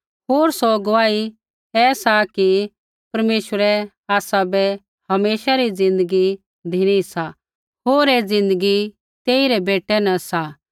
होर सौ गुआही ऐसा कि परमेश्वरै आसाबै हमेशा री ज़िन्दगी धिनी सा होर ऐ ज़िन्दगी तेई रै बेटै न सा